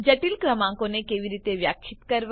જટિલ ક્રમાંકોને કેવી રીતે વ્યાખ્યિત કરવા